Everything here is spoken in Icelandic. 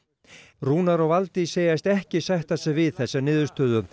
Rúnar og Valdís segjast ekki sætta sig við þessa niðurstöðu